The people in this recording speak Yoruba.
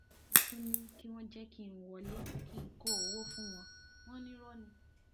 mo tún ní kí wọn jẹ kí n wọlé kí n kó owó fún wọn wọn ní irọ ni